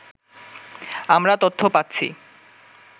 আমরা তথ্য পাচ্ছি